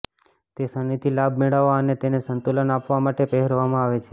તે શનિથી લાભ મેળવવા અને તેને સંતુલન આપવા માટે પહેરવામાં આવે છે